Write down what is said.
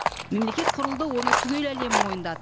мемлекет құрылды оны түгел әлем мойындады